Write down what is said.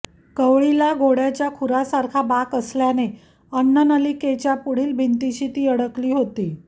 कवळीला घोड्याच्या खुरासारखा बाक असल्याने अन्ननलिकेच्या पुढील भिंतींशी ती अडकली होती